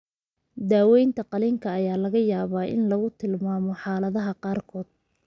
Daaweynta qalliinka ayaa laga yaabaa in lagu tilmaamo xaaladaha qaarkood.